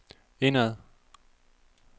indad